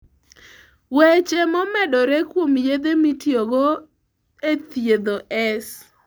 Weche momedore kuom yedhe mitiyogo e thiedho S.